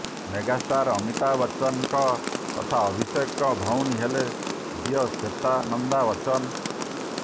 megastar Amitabh ବଚ୍ଚନଙ୍କ ତଥା ଅଭିଷେକଙ୍କ ଭଉଣୀ ହେଲେ ଝିଅ ଶ୍ୱେତା ନନ୍ଦା ବଚ୍ଚନ